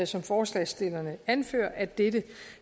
som forslagsstillerne anfører at dette